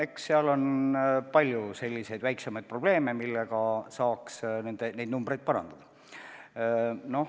Eks seal on palju selliseid väiksemaid probleeme, mille lahendamisega saaks neid numbreid parandada.